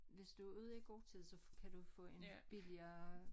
Hvis du ude i god tid så kan du få en billigere